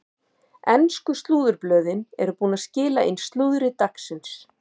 Ensku slúðurblöðin eru búin að skila inn slúðri dagsins.